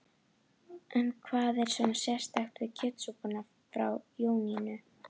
En hvað er svona sérstakt við kjötsúpuna frá Jónínu?